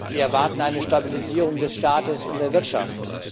Sie erwarten eine Stabilisierung des Staates und der Wirtschaft.